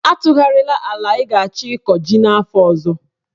Atụgharịla ala ị ga-achọ ịkọ ji n'afọ ọzọ!